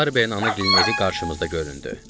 Barberin ana gilinin evi qarşımızda göründü.